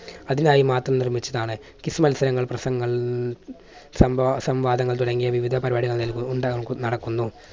അതിനായി മാത്രം നിർമ്മിച്ചതാണ് quiz മത്സരങ്ങൾ പ്രസംഗങ്ങൾ സംവാ~സംവാദങ്ങൾ തുടങ്ങി വിവിധ പരിപാടികൾ ഉണ്ടാവുന്ന നടക്കുന്നു.